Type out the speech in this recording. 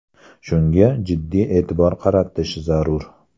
Shunga jiddiy e’tibor qaratish zarur.